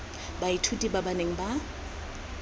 baithuti ba ba neng ba